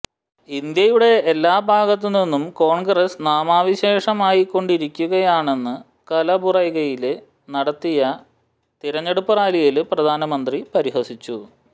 ഇന്ത്യയുടെ എല്ലാ ഭാഗത്തുനിന്നും കോണ്ഗ്രസ് നാമാവശേഷമായിക്കൊണ്ടിരിക്കുകയാണെന്നു കലബുറഗിയില് നടത്തിയ തിരഞ്ഞെടുപ്പു റാലിയില് പ്രധാനമന്ത്രി പരിഹസിച്ചു